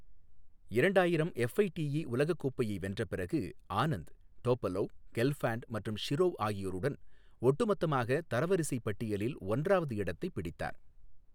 இரண்டாயிரம் FIDE உலகக் கோப்பையை வென்ற பிறகு, ஆனந்த் டோபலோவ், கெல்ஃபாண்ட் மற்றும் ஷிரோவ் ஆகியோருடன் ஒட்டுமொத்தமாக தரைவரிசை பட்டியலில் ஒன்றாவது இடத்தைப் பிடித்தார்.